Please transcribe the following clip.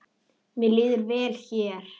Mér líður vel hér.